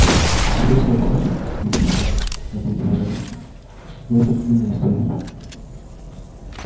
интересный вопрос любезно ответила реддл но это длинная история